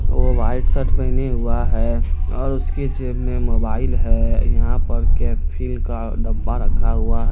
वो white shirt पहने हुआ है और उसके जेब में मोबाईल है| यहाँ पर के फिल का डब्बा रखा हुआ--